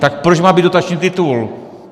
Tak proč má být dotační titul?